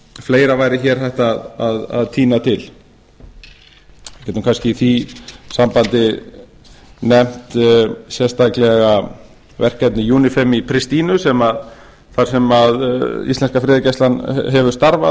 fleira væri hér hægt að tína til ég get kannski í því sambandi nefnt sérstaklega verkefni unifem í pristína þar sem íslenska friðargæslan hefur starfað